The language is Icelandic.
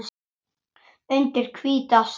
Undir hvíta sæng.